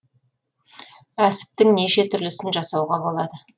әсіптің неше түрлісін жасауға болады